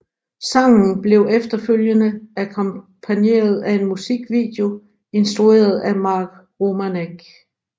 Sangen blev efterfølgende akkompagneret af en musikvideo instrueret af Mark Romanek